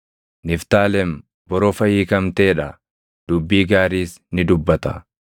“Niftaalem borofa hiikamtee dha; dubbii gaariis ni dubbata.